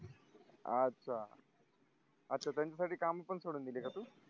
अच्छा अच्छा त्यांच्यासाठी काम पण सोडून दिले का तू